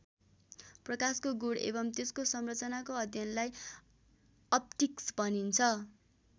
प्रकाशको गुण एवं त्यसको संरचनाको अध्ययनलाई अप्टिक्स भनिन्छ।